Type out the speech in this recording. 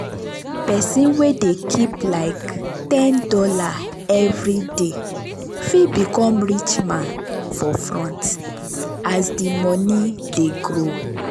person wey dey keep like ten dollars every dey fit become rich man for front as the money dey grow.